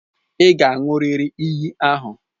Ị ga-aṅụrịrị iyi ahụ!